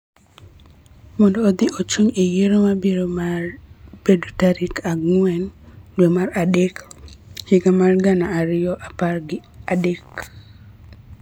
mondo odhi ochung� e yiero ma biro bedo tarik ang'wen dwe mar adek higa mar gana ariyo gi apar gi adek.